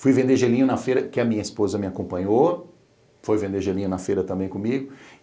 Fui vender gelinho na feira que a minha esposa me acompanhou, foi vender gelinho na feira também comigo.